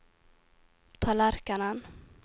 tallerkenen